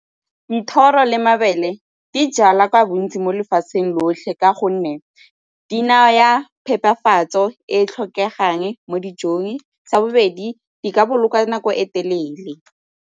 Dithoro le mabele di jalwa ka bontsi mo lefatsheng lotlhe ka gonne di naya phepafatso e e tlhokegang mo dijong. Sa bobedi, di ka boloka nako e telele.